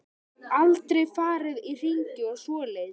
Aldrei farið í hringi og svoleiðis.